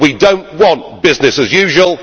We do not want business as usual.